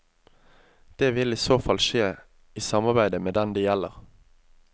Det vil i så fall skje i samarbeide med den det gjelder.